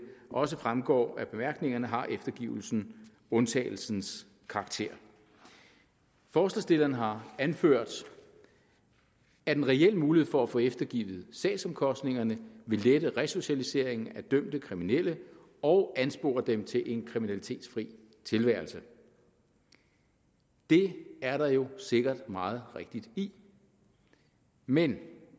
også fremgår af bemærkningerne har eftergivelsen undtagelsens karakter forslagsstillerne har anført at en reel mulighed for at få eftergivet sagsomkostningerne vil lette resocialiseringen af dømte kriminelle og anspore dem til en kriminalitetsfri tilværelse det er der jo sikkert meget rigtigt i men